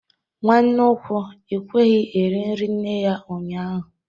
Nwanne ukwu ekweghi iri nri nne ya ụnyahụ